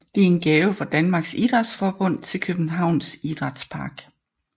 Den er en gave fra Dansk Idrætsforbund til Københavns Idrætspark